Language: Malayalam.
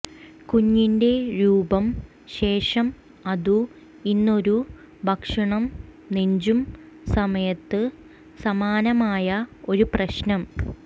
കുഞ്ഞിന്റെ രൂപം ശേഷം അതു ഇന്നൊരു ഭക്ഷണം നെഞ്ചും സമയത്ത് സമാനമായ ഒരു പ്രശ്നം